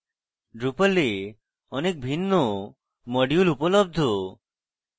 drupal এ অনেক ভিন্ন modules উপলব্ধ